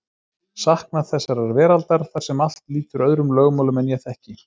Saknað þessarar veraldar þar sem allt lýtur öðrum lögmálum en ég þekki.